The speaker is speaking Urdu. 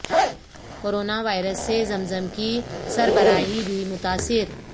کورونا وائرس سے زم زم کی سربراہی بھی متاثر